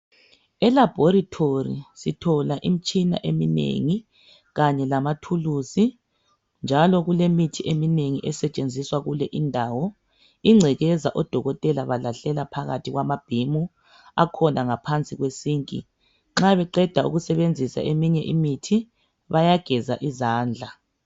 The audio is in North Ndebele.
Elabhorithori sithola imitshina eminengi kanye lamathulusi njalo kulemithi eminengi esetshenziswa kule indawo ingcekeza odokotela balahlela phakathi kwamabhimu akhona ngaphansi kwesinki nxa beqeda ukusebenzisa eminye imithi bayageza izandla.